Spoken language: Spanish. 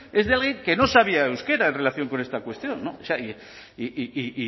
es de alguien que no sabía euskera en relación con esta cuestión o sea y